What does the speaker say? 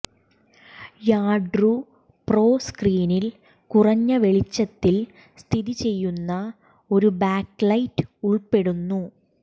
യാർഡ്രൂ pro സ്ക്രീനിൽ കുറഞ്ഞ വെളിച്ചത്തിൽ സ്ഥിതി ചെയ്യുന്ന ഒരു ബാക്ക്ലൈറ്റ് ഉൾപ്പെടുന്നു